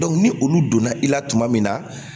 ni olu donna i la tuma min na